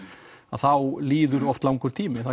þá líður oft langur tími það